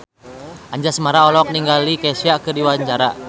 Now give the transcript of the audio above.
Anjasmara olohok ningali Kesha keur diwawancara